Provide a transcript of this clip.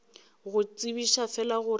go tsebiša fela gore ke